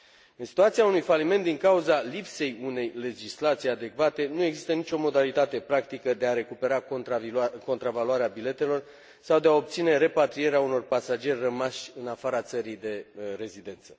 În situația unui faliment din cauza lipsei unei legislații adecvate, nu există nicio modalitate practică de a recupera contravaloare biletelor sau de a obține repatrierea unor pasageri rămași în afara țării de rezidență.